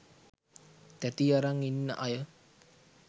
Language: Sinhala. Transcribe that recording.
තැති අරං ඉන්න අය